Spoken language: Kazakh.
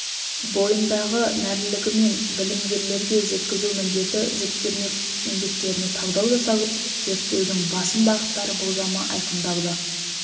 бойындағы нәрлілігімен білімгерлерге жеткізу міндеті жүктелмек еңбектеріне талдау жасалып зерттеудің басым бағыттары болжамы айқындалды